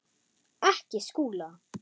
Ekki Skúla!